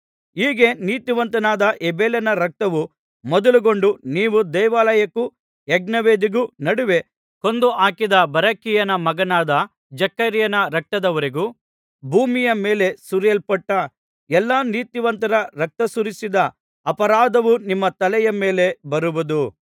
ಹೀಗೆ ನೀತಿವಂತನಾದ ಹೇಬೆಲನ ರಕ್ತವು ಮೊದಲುಗೊಂಡು ನೀವು ದೇವಾಲಯಕ್ಕೂ ಯಜ್ಞವೇದಿಗೂ ನಡುವೆ ಕೊಂದು ಹಾಕಿದ ಬರಕೀಯನ ಮಗನಾದ ಜಕರೀಯನ ರಕ್ತದವರೆಗೂ ಭೂಮಿಯ ಮೇಲೆ ಸುರಿಸಲ್ಪಟ್ಟ ಎಲ್ಲಾ ನೀತಿವಂತರ ರಕ್ತಸುರಿಸಿದ ಅಪರಾಧವು ನಿಮ್ಮ ತಲೆಯ ಮೇಲೆ ಬರುವುದು